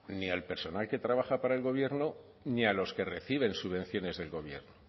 ni al personal que trabaja para el gobierno ni a los que reciben subvenciones del gobierno